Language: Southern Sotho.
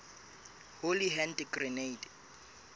holy hand grenade